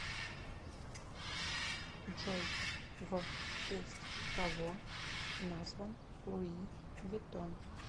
джой в честь кого назван луи виттон